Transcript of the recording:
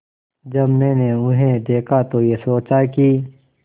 जब मैंने उन्हें देखा तो ये सोचा कि